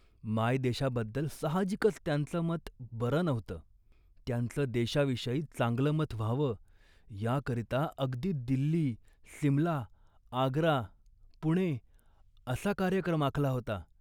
मायदेशाबद्दल साहजिकच त्यांचं मत बरं नव्हतं. त्यांचं देशाविषयी चांगलं मत व्हावं याकरिता अगदी दिल्ली, सिमला, आग्रा, पुणे असा कार्यक्रम आखला होता